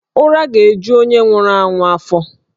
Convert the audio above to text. Ụra ga-eju onye nwụrụ anwụ afọ